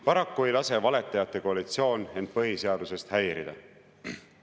Paraku ei lase valetajate koalitsioon end põhiseadusest häirida.